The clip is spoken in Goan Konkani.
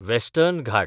वॅस्टर्न घाट